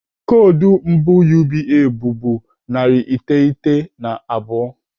Koodu mbụ UBA mbụ bụ narị iteghete na abụọ.